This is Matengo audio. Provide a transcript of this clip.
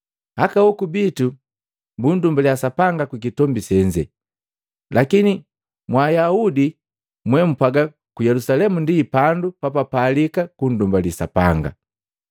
“Aka hoku bitu bundumbaliya Sapanga kukitombi senze, lakini mwa Ayaudi mwee mpwaga ku Yelusalemu ndi pandu papalika kungungamali Sapanga.”